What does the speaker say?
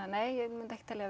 nei ég myndi ekki telja